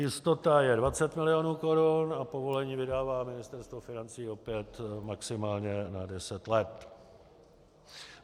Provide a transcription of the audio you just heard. Jistota je 20 milionů korun a povolení vydává Ministerstvo financí opět maximálně na 10 let.